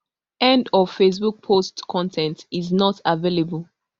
end of facebook post con ten t is not available